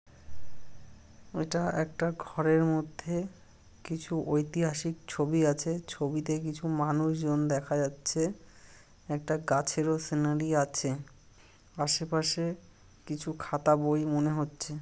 এটা একটা ঘরের মধ্যে কিছু ঐতিহাসিক ছবি আছে ছবিতে কিছু মানুষজন দেখা যাচ্ছে একটা গাছের ও সিনারি আছে আশেপাশে কিছু খাতা বই মনে হচ্ছে।